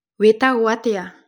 Wĩtagũo atĩa?